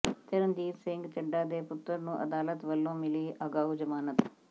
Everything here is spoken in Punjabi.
ਚਰਨਜੀਤ ਸਿੰਘ ਚੱਢਾ ਦੇ ਪੁੱਤਰ ਨੂੰ ਅਦਾਲਤ ਵਲੋਂ ਮਿਲੀ ਅਗਾਊਂ ਜ਼ਮਾਨਤ